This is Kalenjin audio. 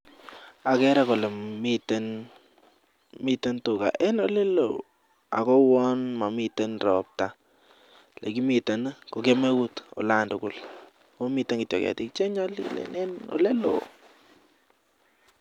Agere Kole miten tuga en olelon akouwon mamiten robta nekimiten KO kemeut olantugul akomiten ketik chenyalilen